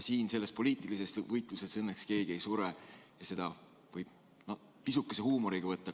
Siin selles poliitilises võitluses õnneks keegi ei sure, ja seda võib pisukese huumoriga võtta.